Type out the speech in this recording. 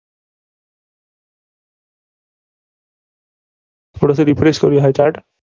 थोडंस refresh करूया हा chart